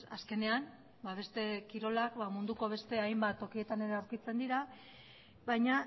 azkenean beste kirolak munduko beste hainbat tokietan ere aurkitzen dira baina